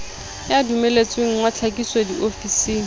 ya dumelletsweng wa tlhakiso diofising